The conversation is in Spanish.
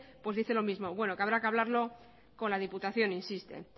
pues dice lo mismo bueno que habrá que hablarlo con la diputación insiste